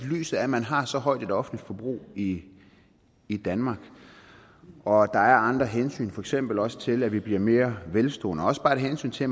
lyset af at man har så højt et offentligt forbrug i i danmark og at der er andre hensyn for eksempel også til at vi bliver mere velstående og også bare et hensyn til